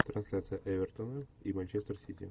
трансляция эвертона и манчестер сити